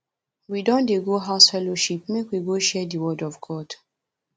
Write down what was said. we don dey go house fellowship make we go share di word of god